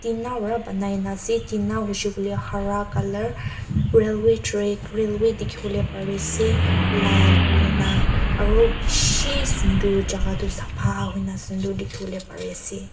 tina para banai na ase tina hoishe koile hara color railway track railway dikhi bole pare ase lal hui na aro bishi sundur jaga du sapha hoi na sundur dikhi bole pare ase.